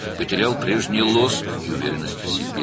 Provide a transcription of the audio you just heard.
Əvvəlki parıltısını və özünə inamını itirdi.